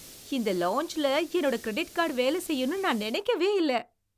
இந்த லாஞ்ச்ல என்னுடைய கிரெடிட் கார்டு வேலை செய்யும்னு நான் நினைக்கவே இல்ல!